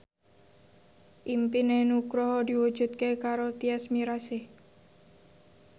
impine Nugroho diwujudke karo Tyas Mirasih